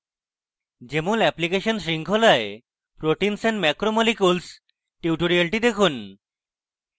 jmol application শৃঙ্খলায় proteins and macromolecules tutorial দেখুন